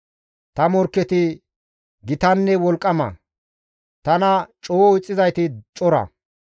Ta morkketi gitanne wolqqama; tana coo ixxizayti cora.